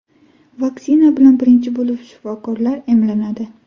Vaksina bilan birinchi bo‘lib shifokorlar emlanadi.